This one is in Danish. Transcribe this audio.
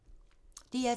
DR2